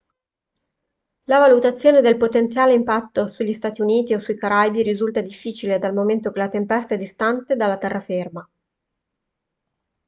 la valutazione del potenziale impatto sugli stati uniti o sui caraibi risulta difficile dal momento che la tempesta è distante dalla terraferma